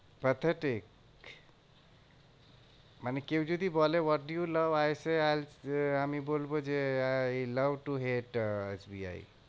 Pathetic মানে কেউ যদি বলে, what you love? I say I will আমি বলবো যে I love to hate ah S B I.